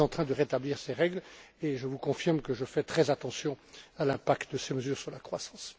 Nous sommes en train de rétablir ces règles et je vous confirme que je fais très attention à l'impact de ces mesures sur la croissance.